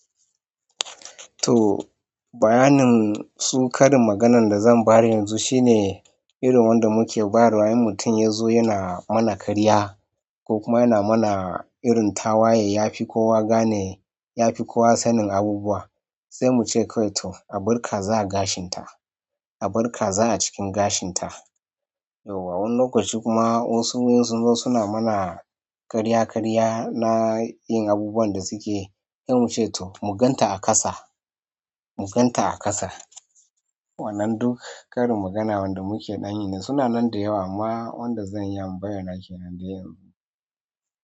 To bayanin su ƙarin maganan da zan bayar yanzu shine irin wanda muke bayar wa idan mutum ya zo yana mana karya ko kuma yana mana irin tawaye yafi kowa gane yafi kowa sanin abubuwa sai muce kai to albarka za a gashin ta albarka za a cikin gashin ta. Yau wa, wani lokaci kuma wasu wurin sun zo suna mana ƙarya ƙarya na yin abubuwan da suke yi, sai mu ce to mu gan ta a ƙasa mu gan ta a ƙasa. Wannan duk ƙarin magana wanda muke ɗanyi ne suna nan da yawa, amma wanda zan iya bayyana kenan dai yanzu.